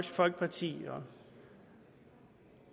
folkepartis og